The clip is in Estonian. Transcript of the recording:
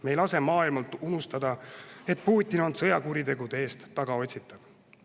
Me ei lase maailmal unustada, et Putin on sõjakuritegude eest tagaotsitav.